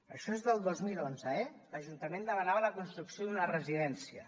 això és del dos mil onze eh l’ajuntament demanava la construcció d’una residència